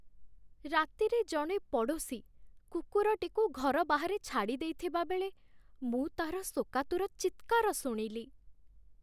ରାତିରେ ଜଣେ ପଡ଼ୋଶୀ କୁକୁରଟିକୁ ଘର ବାହାରେ ଛାଡ଼ିଦେଇଥିବାବେଳେ ମୁଁ ତା'ର ଶୋକାତୁର ଚିତ୍କାର ଶୁଣିଲି।